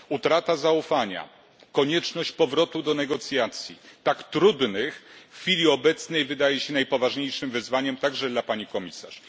Utrata zaufania, konieczność powrotu do negocjacji, tak trudnych w chwili obecnej, wydaje się najpoważniejszym wyzwaniem także dla pani komisarz.